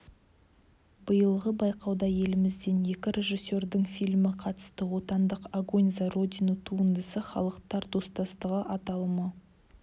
биылғы байқауда елімізден екі режиссердің фильмі қатысты отандық огонь за родину туындысы халықтар достастығы аталымы